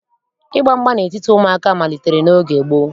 Ịgba mgba n'etiti ụmụaka malitere n'oge gboo